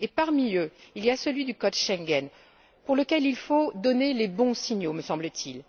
Parmi eux, il y a celui du code Schengen, pour lequel il faut donner les bons signaux, me semble t il.